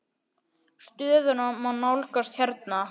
Stöðuna má nálgast hérna.